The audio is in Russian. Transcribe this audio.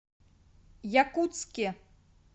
якутске